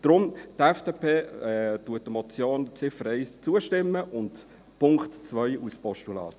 Deshalb stimmt die FDP der Ziffer 1 als Motion zu und dem Punkt 2 als Postulat.